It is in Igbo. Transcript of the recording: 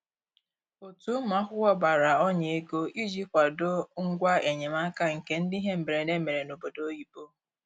Otu ụmụ akwụkwọ gbara ọnya ego iji kwado ngwa enyemaka nke ndị ihe mberede mere n'obodo oyibo